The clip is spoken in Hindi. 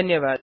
धन्यवाद